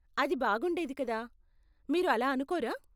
అది బాగుండేది కదా, మీరు అలా అనుకోరా.